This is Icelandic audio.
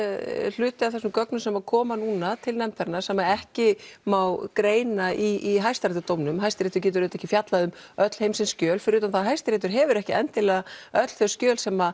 hluti af þessum gögnum sem koma núna til nefndarinnar sem ekki má greina í hæstaréttardómnum Hæstiréttur getur auðvitað ekki fjallað um öll heimsins skjöl fyrir utan það að Hæstiréttur hefur ekki endilega öll þau skjöl sem